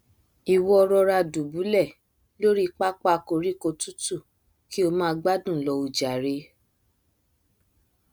ìwọ rọra dùbúlẹ lóri pápá koríko tútù kí o máa gbádùn lọ o jàre